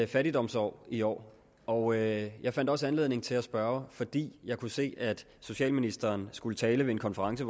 fattigdomsår i år og jeg jeg fandt også anledning til at spørge fordi jeg kunne se at socialministeren i skulle tale ved en konference